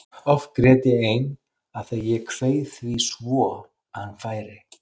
Oft grét ég ein af því að ég kveið því svo að hann færi.